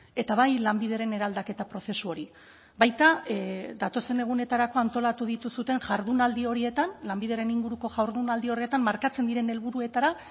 eta bai lanbideren eraldaketa prozesu hori baita datozen egunetarako antolatu dituzuen jardunaldi horietan lanbideren inguruko jardunaldi horretan markatzen diren helburuetara